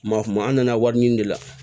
Maa kuma an na wari ɲini de la